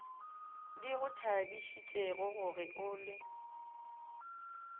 di go thabišitšegoge o le